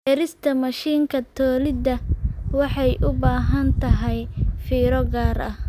Beerista mashiinka tolida waxay u baahan tahay fiiro gaar ah.